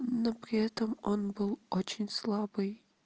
но при этом он был очень слабый